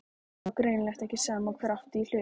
Það var greinilega ekki sama hver átti í hlut.